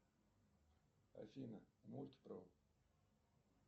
афина мульт про